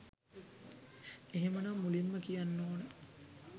එහෙමනම් මුලින්ම කියන්න ඕන